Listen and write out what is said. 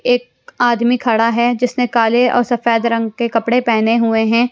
एक आदमी खड़ा है जिसने काले और सफेद रंग के कपड़े पहने हुए है।